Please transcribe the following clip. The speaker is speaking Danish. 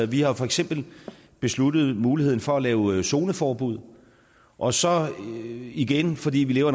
vi har for eksempel besluttet muligheden for at lave zoneforbud og så igen fordi vi lever